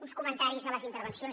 uns comentaris a les intervencions